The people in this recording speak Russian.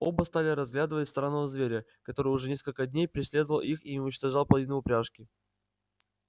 оба стали разглядывать странного зверя который уже несколько дней преследовал их и уничтожал половину упряжки